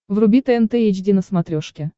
вруби тнт эйч ди на смотрешке